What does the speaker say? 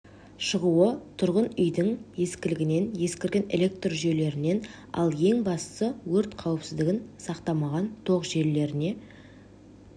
шығуы тұрғын үйдің ескілігінен ескірген электр жүйелерінен ал ең бастысы өрт қауыпсіздігін сақтамаған тоқ желілеріне